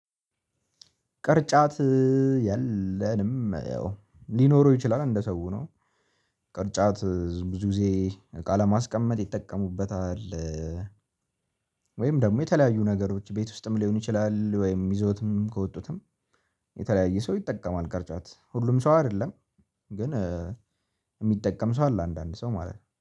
ቅርጫት የለንም ያው ሊኖረው ይችላል እንደ ሰው ነው። ቅርጫት ብዙ ጊዜ እቃ ለማስቀመጥ ይጠቀሙበታል። ወይም ደግሞ የተለያዩ ነገሮች ቤት ውስጥም ሊሆን ይችላል ወይም ይዞትም ከወጡትም። የተለያየ ሰው ይጠቀማል ቅርጫት ሁሉም ሰው አይደለም። ግን የሚጠቀም ሰው አለ አንዳንድ ሰው ማለት ነው